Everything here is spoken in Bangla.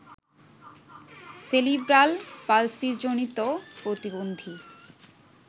সেরিব্রাল পালসিজনিত প্রতিবন্ধী